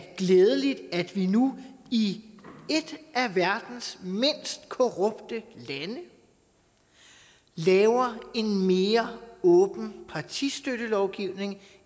glædeligt at vi nu i et af verdens mindst korrupte lande laver en mere åben partistøttelovgivning